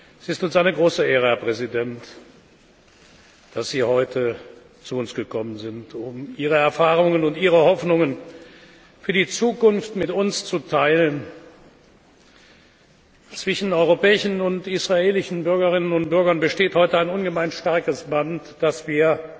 Es ist uns eine große Ehre, Herr Präsident, dass Sie heute zu uns gekommen sind, um Ihre Erfahrungen und Ihre Hoffnungen für die Zukunft mit uns zu teilen. Zwischen europäischen und israelischen Bürgerinnen und Bürgern besteht heute ein ungemein starkes Band, das wir